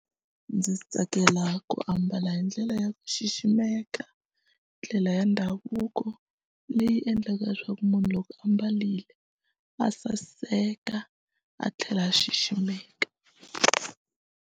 Ndzi tsakela ku ambala hi ndlela ya ku xiximeka ndlela ya ndhavuko leyi endlaka leswaku munhu loko a mbarile a saseka a tlhela a xiximeka.